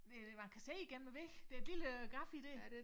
Det man kan se igennem æ væg det et lille gaf i dér